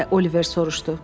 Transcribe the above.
deyə Oliver soruşdu.